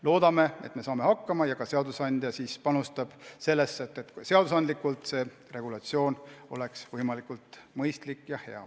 Loodame, et me saame hakkama ja et ka seadusandja annab oma panuse, et seadusandlikult oleks kogu regulatsioon võimalikult mõistlik ja hea.